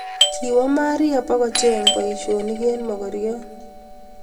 Kiwo Maria bugocheng boishonik eng mogoryot